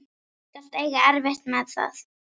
Þú skalt eiga erfitt með það.